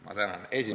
Ma tänan!